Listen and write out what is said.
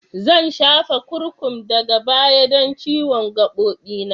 Zan shafa kurkum daga baya don ciwon gabobi na.